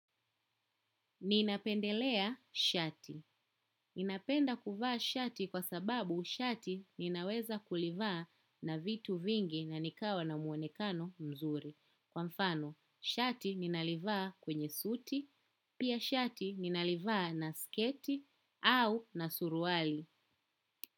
Ninapendelea shati. Ninapenda kuvaa shati kwa sababu shati ninaweza kulivaa na vitu vingi na nikawa na muonekano mzuri. Kwa mfano, shati ninalivaa kwenye suti, pia shati ninalivaa na sketi au na suruali.